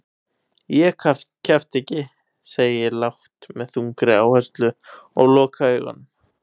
Ég kjafta ekki, segi ég lágt með þungri áherslu og loka augunum.